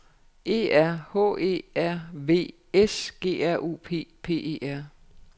E R H V E R V S G R U P P E R